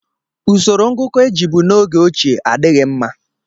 Usoro ngụkọ e jibu n'oge ochie adịghị mma